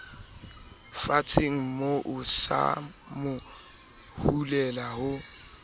fatshemoo sa mo hulela ho